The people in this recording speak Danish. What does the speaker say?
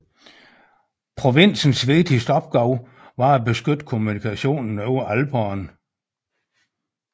Provinsens vigtigste opgave var at beskytte kommunikationen over Alperne